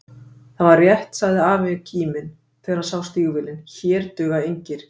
Það var rétt sagði afi kíminn, þegar hann sá stígvélin, hér duga engir